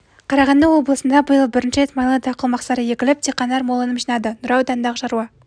қарағанды облысында биыл бірінші рет майлы дақыл мақсары егіліп диқандар мол өнім жинады нұра ауданындағы шаруа